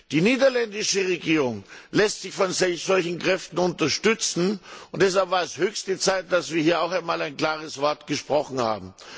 Die niederländische Regierung lässt sich von solchen Kräften unterstützen, und deshalb war es höchste Zeit, dass wir hier auch einmal ein klares Wort gesprochen haben.